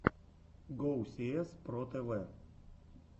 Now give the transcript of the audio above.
гоусиэс про тэвэ